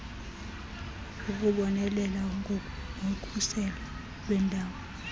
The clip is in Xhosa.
ukubonelela ngokhuselo lweendawo